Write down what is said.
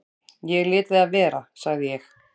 """Ég léti það vera, sagði ég."""